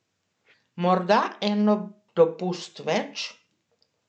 Morda en dopust več?